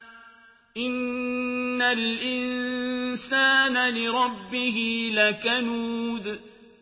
إِنَّ الْإِنسَانَ لِرَبِّهِ لَكَنُودٌ